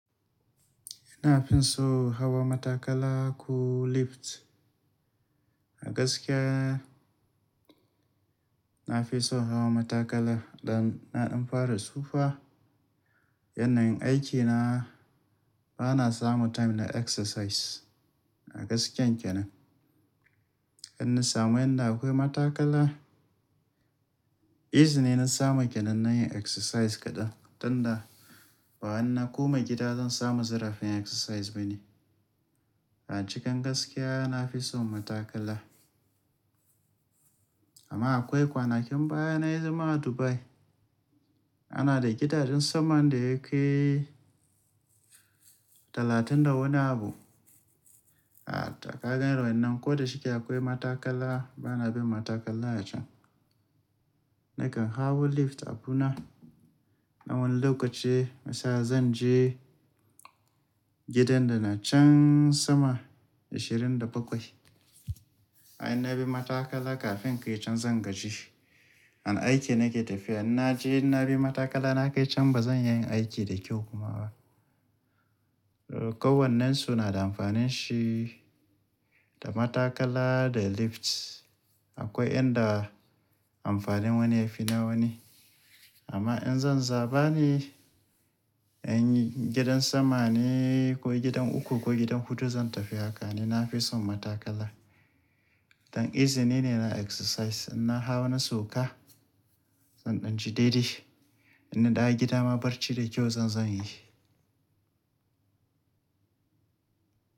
Ina fin so hawa matakala ko lift. A gaskiya, na fi son hawa matakala dan na ɗan fara tsufa. Yanayin aikina bana samu time na exercise. A gaskiyan kenan. In na samu yanda akwai matakala, easy ne na samu kenan na yi exercise kaɗan. Tunda wahanna koma gida zan samu zarafin exercise bane. A cikin gaskiya na fi son matakala. Amma akwai kwanakin baya na yi zama a Dubai, ana da gidajen sama da ya kai talatin da wani abu. A kaga irin wayannan ko da shike akwai matakala bana bin matakala a can. Nakan hawo lift abuna. Na wani lokaci, misala zan je gidan da na can sama ashirin da bakwai. Ai in na bi matakala kafin in kai can zan gaji. An aiki nake tafiya. In na je in na bi matakala na kai can bazan yin aiki da kyau kuma ba. Kowannen su na da amfanin shi, da matakala da lift. Akwai yanda amfanin wani ya fi na wani. Amma in zan zaba ne, in gidan sama ne ko gidan uku ko gidan huɗu zan tafi haka ne. Na fi son matakala. Dan easy ne, yana exercise. In na hawo na sauka, zan ɗan ji daidai. In na dawo gida ma barci da kyau zan zo inyi.